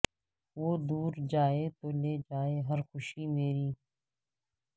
وہ دور جائے تو لے جائے ہر خوشی میری